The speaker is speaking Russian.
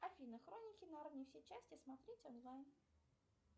афина хроники нарнии все части смотреть онлайн